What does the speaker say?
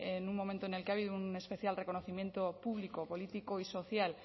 en un momento en el que ha habido un especial reconocimiento público político y social